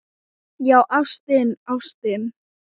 Já, ástin, ástin.